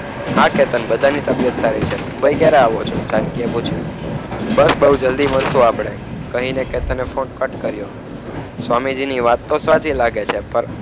હા કેતન બધાની તબિયત સારી છે મુંબઈ ક્યારે આવો છો? જાનકી એ પૂછ્યું. બસ બહુ જલદી મળશો આપણે. કહીને કે તને ફોન કટ કર્યો. સ્વામીજીની વાત તો સાચી લાગે છે પણ